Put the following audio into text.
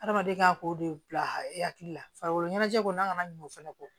Adamaden ka k'o de bila e hakili la farikolo ɲɛnajɛko n'a kana ɲina o fɛnɛ kɔ